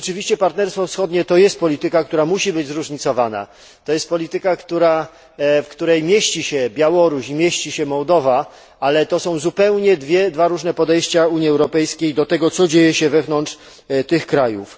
Rzeczywiście Partnerstwo Wschodnie to jest polityka, która musi być zróżnicowana. To jest polityka, w której mieści się Białoruś i Mołdowa, ale to są zupełnie dwa różne podejścia Unii Europejskiej do tego, co dzieje się wewnątrz tych krajów.